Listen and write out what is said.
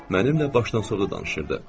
Mənimlə başdan sonra danışırdı.